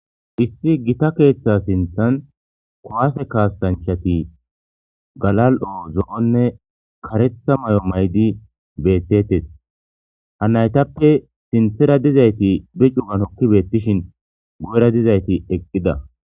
Issi gita keeththa sinthan kowaase kaasanchati galal'o zo'onne karetha may'o maydi bettetes ha naytappe sinthera dizayti bi cuganokki beettishin gu'era dizayti eqqida.